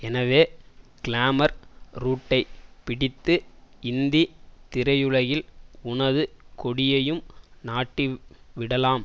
எனவே கிளாமர் ரூட்டை பிடித்து இந்தி திரையுலகில் உனது கொடியையும் நாட்டி விடலாம்